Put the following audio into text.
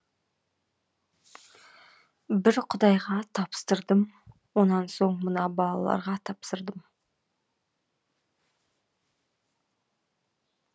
бір құдайға тапсырдым онан соң мына балаларға тапсырдым